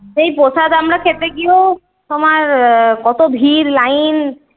সেই প্রসাদ আমরা খেতে গিয়েও তোমার কত ভিড় line?